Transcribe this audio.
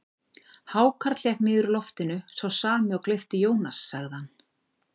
Hákarl hékk niður úr loftinu, sá sami og gleypti Jónas, sagði hann.